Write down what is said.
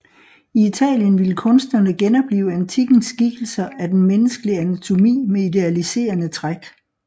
I Italien ville kunstnerne genoplive antikkens skikkelser af den menneskelige anatomi med idealiserende træk